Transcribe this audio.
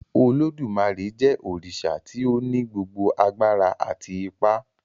Olodumare jé òrìṣà tí o ní gbogbo àgbàrá àti ipá